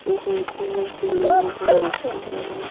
ऊपर की ओर सीढ़ियों का रास्ता गया हु--